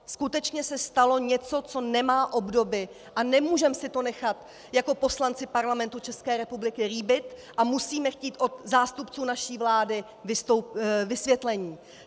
Skutečně se stalo něco, co nemá obdoby, a nemůžeme si to nechat jako poslanci Parlamentu České republiky líbit a musíme chtít od zástupců naší vlády vysvětlení.